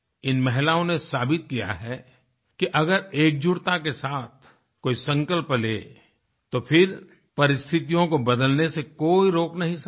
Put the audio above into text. इन महिलाओं ने साबित किया है कि अगर एकजुटता के साथ कोई संकल्प ले तो फिर परिस्थितियों को बदलने से कोई रोक नहीं सकता